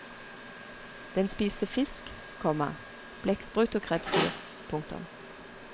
Den spiste fisk, komma blekksprut og krepsdyr. punktum